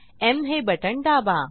M हे बटण दाबा